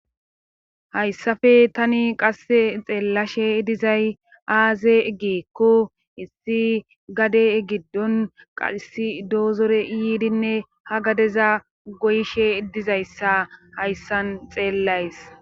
Hayssafe tani qasse xeellashe dizay aaze egikko issi gade egiddon qasi doozore yiidinne ha gadeza goyishe dizayssa hayssan xeellays.